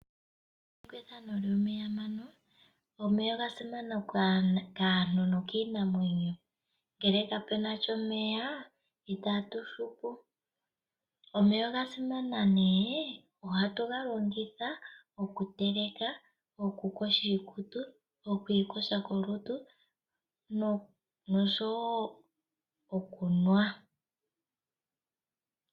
Omeya oga simana kaantu nokiinamwenyo ngele kapunasha omeya itatu hupu. Omeya ohaga longithwa okuteleka, okuyoga iikutu nenge kolutu oshowo okunwa.